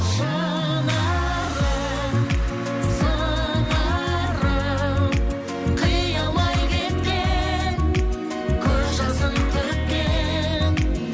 шынарым сыңарым қия алмай кеткен көз жасын төккен